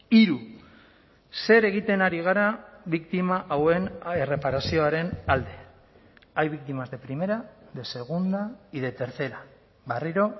hiru zer egiten ari gara biktima hauen erreparazioaren alde hay víctimas de primera de segunda y de tercera berriro